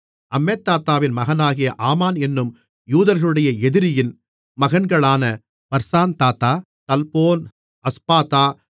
அம்மெதாத்தாவின் மகனாகிய ஆமான் என்னும் யூதர்களுடைய எதிரியின் மகன்களான பர்சான்தாத்தா தல்போன் அஸ்பாதா